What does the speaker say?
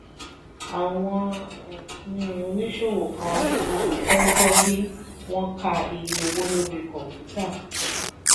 àwọn oníṣòwò kan kì í fẹ́ gbọ́ bí wọ́n ka iye owó lórí kọ̀ǹpútà.